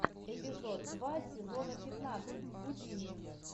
эпизод два сезона пятнадцать гудини